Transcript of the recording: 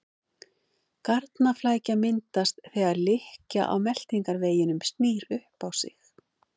Garnaflækja myndast þegar lykkja á meltingarveginum snýr upp á sig.